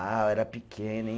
Ah, eu era pequeno, hein?